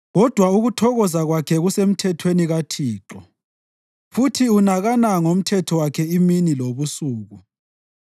Kodwa ukuthokoza kwakhe kusemthethweni kaThixo, futhi unakana ngomthetho wakhe imini lobusuku.